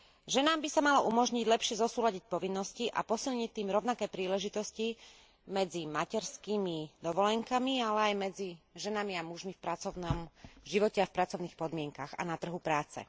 Ženám by sa malo umožniť lepšie zosúladiť povinnosti a posilniť tým rovnaké príležitosti medzi materskými dovolenkami, ale aj medzi ženami a mužmi v pracovnom živote a v pracovných podmienkach a na trhu práce.